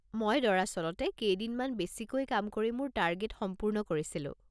মই দৰাচলতে কেইদিনমান বেছিকৈ কাম কৰি মোৰ টাৰ্গেট সম্পূৰ্ণ কৰিছিলো।